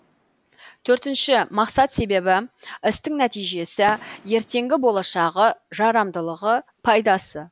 төртінші мақсат себебі істің нәтижесі ертеңгі болашағы жарамдылығы пайдасы